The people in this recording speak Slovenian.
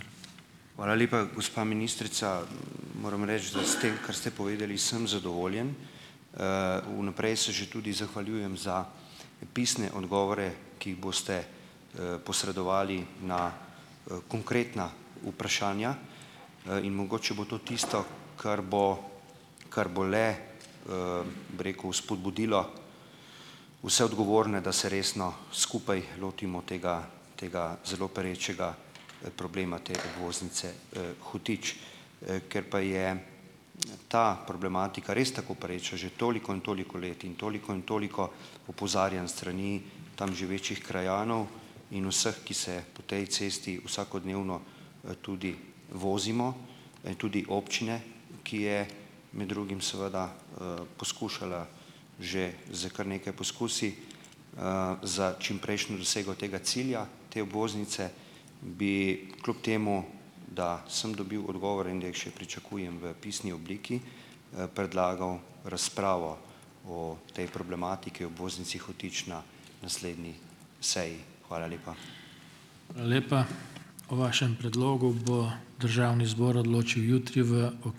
Hvala lepa, gospa ministrica. Moram reči, da s tem, kar ste povedali, sem zadovoljen. Vnaprej se že tudi zahvaljujem za pisne odgovore, ki jih boste posredovali na konkretna vprašanja, in mogoče bo to tisto, kar bo kar bo le, bi rekel, spodbudilo vse odgovorne, da se resno skupaj lotimo tega tega zelo perečega problema te obvoznice Hotič. Ker pa je ta problematika res tako pereča že toliko in toliko let in toliko in toliko opozarjanj s strani tam živečih krajanov in vseh, ki se po tej cesti vsakodnevno tudi vozimo, tudi občine, ki je med drugim seveda poskušala že s kar nekaj poskusi za čimprejšnjo dosego tega cilja, te obvoznice, bi kljub temu, da sem dobil odgovore in da jih še pričakujem v pisni obliki, predlagal razpravo o tej problematiki obvoznici Hotič na naslednji seji. Hvala lepa.